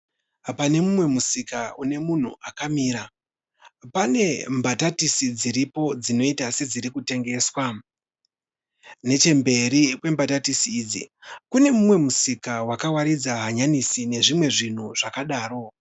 Pane umwe musika une munhu akamira. Pane bhatatisi dziripo dzinoita sedziri kutengeswa. Nechemberi kwebhatatisi idzi kune mumwe musika wakawaridza hanyanisi nezvimwe zvinhu zvakadaro.